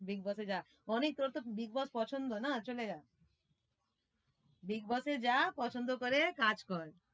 Big boss এ যা অনিক তোর তো big boss পছন্দ না চলে যা, big boss এ যা পছন্দ করে কাজ কর।